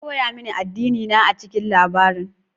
An koya mini addinina a cikin labarin.